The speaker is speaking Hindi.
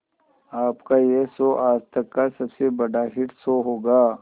आपका यह शो आज तक का सबसे बड़ा हिट शो होगा